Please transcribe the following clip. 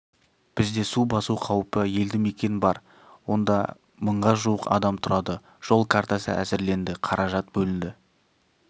бізде су басу қаупі елді-мекен бар онда мыңға жуық адам тұрады жол картасы әзірленді қаражат бөлінді